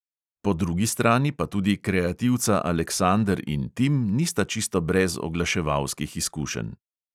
Po drugi strani pa tudi kreativca aleksander in tim nista čisto brez oglaševalskih izkušenj.